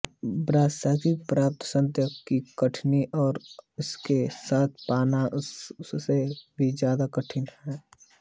ब्रह्मशिर की प्राप्ति अत्यंत ही कठिन है और उसको साध पाना उससे भी ज्यादा कठिन